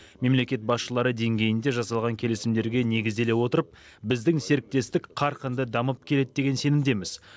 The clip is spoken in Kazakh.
мемлекет басшылары деңгейінде жасалған келісімдерге негізделе отырып біздің серіктестік қарқынды дамып келеді деген сенімдеміз